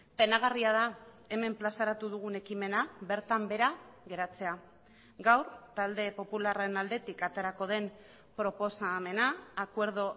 penagarria da hemen plazaratu dugun ekimena bertan behera geratzea gaur talde popularraren aldetik aterako den proposamena acuerdo